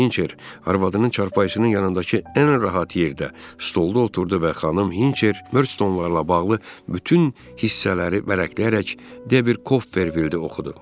Hinçer arvadının çarpayısının yanındakı ən rahat yerdə stolda oturdu və xanım Hinçer Mörçstonlarla bağlı bütün hissələri vərəqləyərək Devid Kopperfildi oxudu.